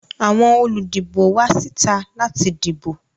Àwọn olùdìbò wá síta láti dìbò